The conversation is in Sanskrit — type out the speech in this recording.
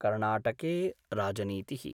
कर्णाटके राजनीति: